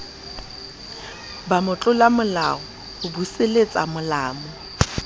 ba motlolamolao ho buseletsa mo